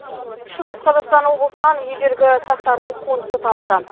шығыс қазақстан облысынан ежелгі сақтардың қонысы табылды